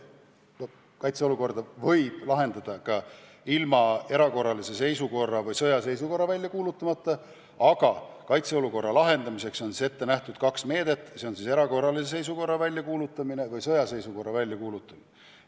Kaitseolukorda võib lahendada ka ilma erakorralist seisukorda või sõjaseisukorda välja kuulutamata, aga üldiselt on selle lahendamiseks ette nähtud kaks meedet, milleks on erakorralise seisukorra väljakuulutamine või sõjaseisukorra väljakuulutamine.